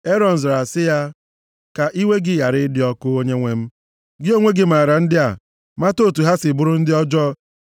“Erọn zara sị ya, ka iwe gị ghara ịdị ọkụ, onyenwe m. Gị onwe gị maara ndị a, mata otu ha si bụrụ ndị ọjọọ.